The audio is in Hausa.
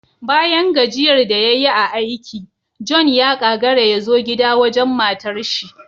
Bayan gajiyar da yayi a aiki, John ya kagara yazo gida wajen matarshi